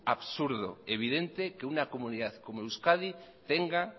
absurdo evidente que una comunidad como euskadi tenga